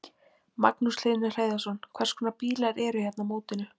Magnús Hlynur Hreiðarsson: Hvers konar bílar eru hérna á mótinu?